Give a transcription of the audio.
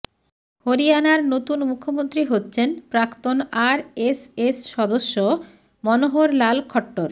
হরিয়ানার নতুন মুখ্যমন্ত্রী হচ্ছেন প্রাক্তন আরএসএস সদস্য মনোহর লাল খট্টর